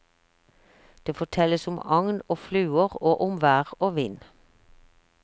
Det fortelles om agn og fluer, og om vær og vind.